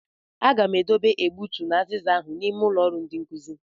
Agam e dobe egbutu na aziza ahụ n'ime ụlọ ọrụ ndi nkuzi.